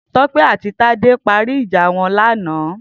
Tope àtí Tade ti pári ijà wọn làná